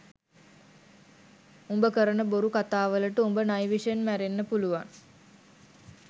උඹ කරණ බොරු කතාවලට උඹ නයි විෂෙන් මැරෙන්න පුළුවන්